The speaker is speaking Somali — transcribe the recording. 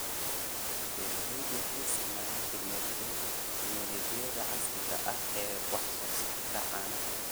Beeraleydu waxay isticmaalaan tignoolajiyada casriga ah ee wax soo saarka caanaha.